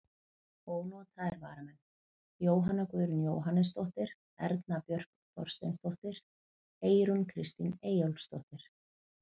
Ónotaðir varamenn: Jóhanna Guðrún Jóhannesdóttir, Erna Björk Þorsteinsdóttir, Eyrún Kristín Eyjólfsdóttir.